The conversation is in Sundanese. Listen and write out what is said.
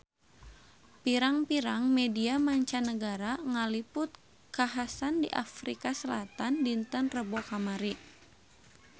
Pirang-pirang media mancanagara ngaliput kakhasan di Afrika Selatan dinten Rebo kamari